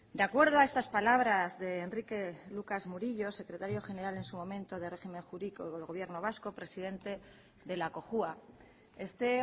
de acuerdo a estas palabras de enrique lucas murillo secretario general en su momento de régimen jurídico del gobierno vasco presidente de la cojua este